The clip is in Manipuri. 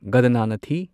ꯒꯗꯅꯅꯊꯤ